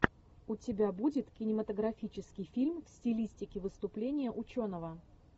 у тебя будет кинематографический фильм в стилистике выступление ученого